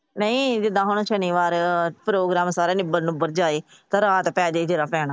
ਨਹੀਂ ਜੇ ਅਗਾਹ ਨੂੰ ਸ਼ਨੀਵਾਰ ਪ੍ਰੋਗਰਾਮ ਸਾਰਾ ਨਿੱਬੜ ਨੂੰਬਰ ਜਾਵੇ ਤੇ ਰਾਤ ਪੈ ਜੇ ਜਿਹੜਾ ਪੈਣਾ।